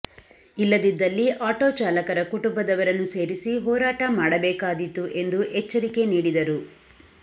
ಇಲ್ಲದಿದ್ದಲ್ಲಿ ಆಟೋ ಚಾಲಕರ ಕುಟುಂಬದವರನ್ನು ಸೇರಿಸಿ ಹೋರಾಟ ಮಾಡಬೇಕಾದೀತು ಎಂದು ಎಚ್ಚರಿಕೆ ನೀಡಿದರು